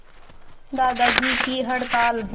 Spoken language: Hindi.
दादाजी की हड़ताल